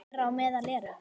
Þeirra á meðal eru